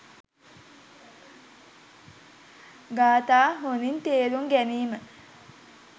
ගාථා හොඳින් තේරුම් ගැනීම